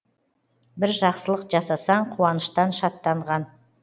бір жақсылық жасасаң қуаныштан шаттанған